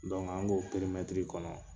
Dɔnku an k'o perimɛtiri kɔnɔ